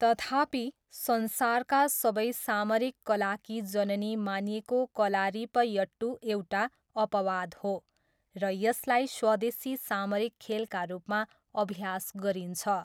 तथापि, संसारका सबै सामरिक कलाकी जननी मानिएको कलारिपयट्टू एउटा अपवाद हो र यसलाई स्वदेशी सामरिक खेलका रूपमा अभ्यास गरिन्छ।